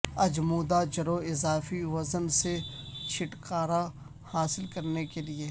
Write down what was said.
اجمودا جڑوں اضافی وزن سے چھٹکارا حاصل کرنے کے لئے